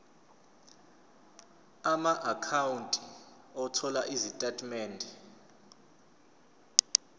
amaakhawunti othola izitatimende